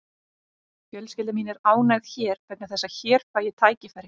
Fjölskylda mín er ánægð hér vegna þess að hér fæ ég tækifæri.